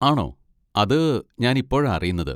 ആണോ, അത് ഞാനിപ്പോഴാ അറിയുന്നത്.